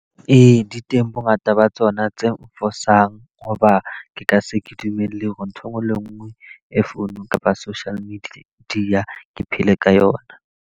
Ee, di teng bo ngata ba tsona tse nfosang. Hoba ke ka se ke dumelle hore ntho e nngwe le e nngwe e founung kapa social media ke phele ka yona.